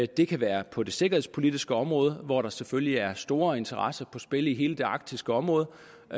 det kan være på det sikkerhedspolitiske område hvor der selvfølgelig er store interesser på spil i hele det arktiske område